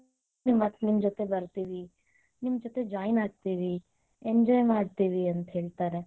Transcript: ನಿಮ್ಮ ಜೊತಿ ಬರತೇವಿ, ನಿಮ್ಮ ಜೊತೆ join ಆಗತೇವಿ enjoy ಮಾಡತೇವಿ ಅಂತ ಹೇಳ್ತಾರೆ.